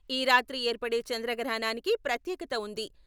ఈ రాత్రి ఏర్పడే చంద్రగ్రహణానికి ప్రత్యేకత వుంది.